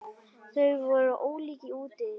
Þau voru ólík í útliti.